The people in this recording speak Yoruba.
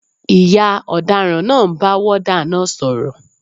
Ìyá ọ̀daràn náà ń bá wọ́ọ́dà náà sọ̀rọ̀